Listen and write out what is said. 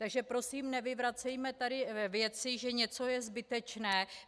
Takže prosím, nevyvracejme tady věci, že něco je zbytečné.